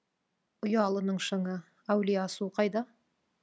ұялының шыңы әулие асу қайда